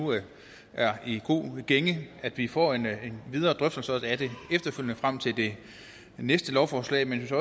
er i god gænge at vi får en videre drøftelse af det efterfølgende frem til det næste lovforslag men jeg